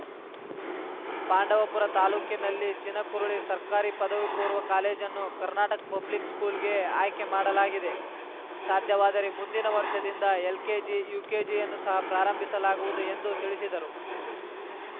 ಪಾಂಡವಪುರ ತಾಲೂಕಿನಲ್ಲಿ ಚಿನಕುರಳಿ ಸರಕಾರಿ ಪದವಿ ಪೂರ್ವ ಕಾಲೇಜನ್ನು ಕರ್ನಾಟಕ ಪಬ್ಲಿಕ್‌ ಸ್ಕೂಲ್‌ಗೆ ಆಯ್ಕೆ ಮಾಡಲಾಗಿದೆ ಸಾಧ್ಯವಾದರೆ ಮುಂದಿನ ವರ್ಷದಿಂದ ಎಲ್‌ಕೆಜಿ ಯುಕೆಜಿಯನ್ನು ಸಹ ಪ್ರಾರಂಭಿಸಲಾಗುವುದು ಎಂದು ತಿಳಿಸಿದರು